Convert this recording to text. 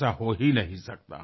ऐसा हो ही नहीं सकता